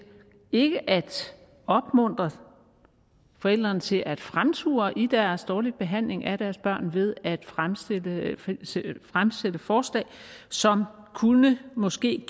ikke at opmuntre forældrene til at fremture i deres dårlige behandling af deres børn ved at fremsætte forslag som måske